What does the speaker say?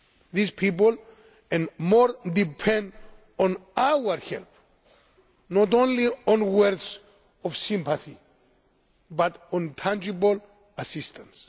war. These people and more depend on our help, not only on words of sympathy but on tangible assistance.